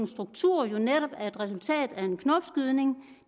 struktur jo netop er et resultat af en knopskydning